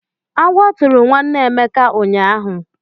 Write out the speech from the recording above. Agwọ tụrụ nwanne Emeka ụnyaahụ.